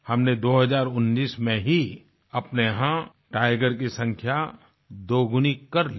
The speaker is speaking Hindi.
हमनें 2019 में ही अपने यहाँ टाइगर की संख्या दोगुनी कर दी